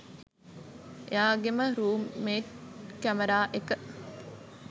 එයාගේම room mate camera එක